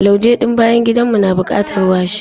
Lauje ɗin bayan gidan mu na bukatar washi.